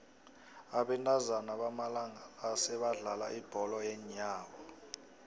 abentazana bamalanga la sebadlala ibholo yeenyawo